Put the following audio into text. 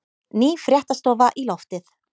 Ný fréttastofa í loftið